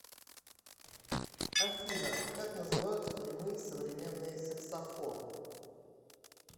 афина как называются прямые современные саксофоны